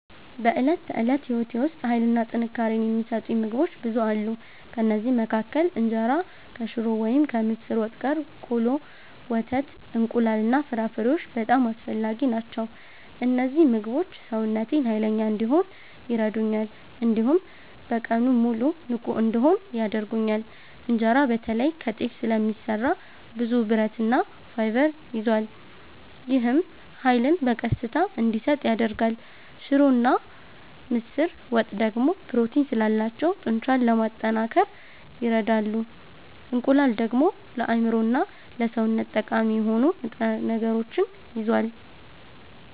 በዕለት ተዕለት ሕይወቴ ውስጥ ኃይልና ጥንካሬ የሚሰጡኝ ምግቦች ብዙ አሉ። ከእነዚህ መካከል እንጀራ ከሽሮ ወይም ከምስር ወጥ ጋር፣ ቆሎ፣ ወተት፣ እንቁላል እና ፍራፍሬዎች በጣም አስፈላጊ ናቸው። እነዚህ ምግቦች ሰውነቴን ኃይለኛ እንዲሆን ይረዱኛል፣ እንዲሁም በቀኑ ሙሉ ንቁ እንድሆን ያደርጉኛል። እንጀራ በተለይ ከጤፍ ስለሚሰራ ብዙ ብረትና ፋይበር ይዟል። ይህም ኃይልን በቀስታ እንዲሰጥ ያደርጋል። ሽሮና ምስር ወጥ ደግሞ ፕሮቲን ስላላቸው ጡንቻን ለማጠናከር ይረዳሉ። እንቁላል ደግሞ ለአእምሮና ለሰውነት ጠቃሚ የሆኑ ንጥረ ነገሮችን ይዟል።